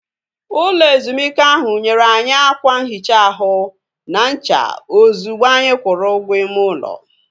Ụlọ ezumike ahu nyere anyị ákwà nhicha ahụ na ncha ozigbo anyị kwụrụ ụgwọ ime ụlọ